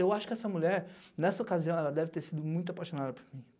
Eu acho que essa mulher, nessa ocasião, ela deve ter sido muito apaixonada por mim.